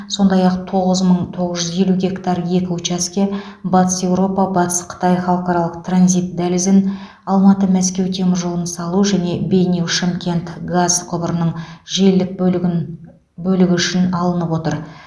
сондай ақ тоғыз мың тоғыз жүз елу гектар екі учаске батыс еуропа батыс қытай халықаралық транзит дәлізін алматы мәскеу теміржолын салу және бейнеу шымкент газ құбырының желілік бөлігі үшін алынып отыр